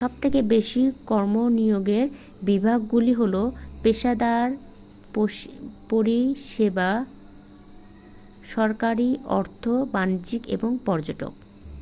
সবথেকে বেশি কর্মনিয়োগের বিভাগগুলি হল পেশাদার পরিষেবা সরকারি অর্থ বাণিজ্য এবং পর্যটন